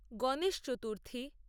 Ganesh Chaturthi